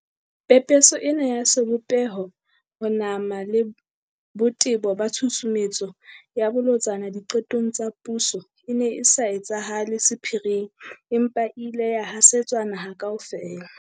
Pepeso ena ya sebopeho, ho nama le botebo ba tshusumetso e bolotsana di qetong tsa puso e ne e sa etsahale sephiring, empa e ile ya hasetswa naha kaofela.